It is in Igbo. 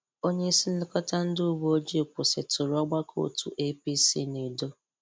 Onye isi nlekọta ndị uweojii kwụsịtụrụ ọgbakọ òtù APC n’Edo.